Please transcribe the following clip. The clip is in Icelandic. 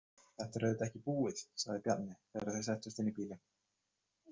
Þetta er auðvitað ekki búið, sagði Bjarni þegar þau settust inn í bílinn.